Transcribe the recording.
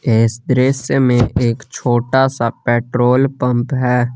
Espresso में एक छोटा सा पेट्रोल पंप है।